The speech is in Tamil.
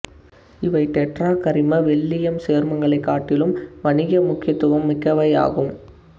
இவை டெட்ராகரிம வெள்ளீயம் சேர்மங்களைக் காட்டிலும் வணிக முக்கியத்துவம் மிக்கவையாகும்